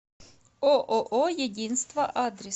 ооо единство адрес